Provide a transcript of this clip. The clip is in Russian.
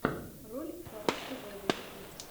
ролик фарруко вево ютуб